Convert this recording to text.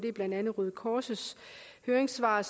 er blandt andet røde kors høringssvar